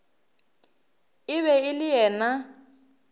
e be e le yena